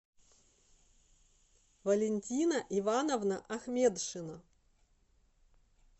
валентина ивановна ахмедшина